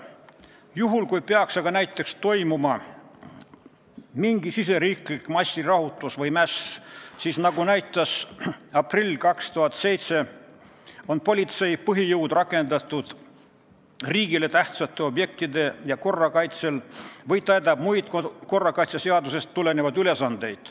Juhul kui peaks näiteks toimuma mingi riigisisene massirahutus või mäss, siis nagu näitas aprill 2007, on politsei põhijõud rakendatud riigile tähtsatel objektidel ja korra kaitsel või täidavad nad muid korrakaitseseadusest tulenevaid ülesandeid.